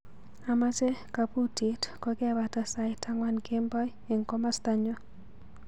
Amache kabutit kokebata sait angwan kemboi eng komastanyu.